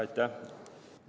Aitäh!